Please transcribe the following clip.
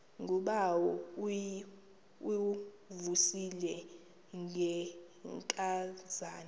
ngubawo uvuyisile ngenkazana